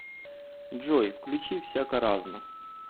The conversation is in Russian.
джой включи всяко разно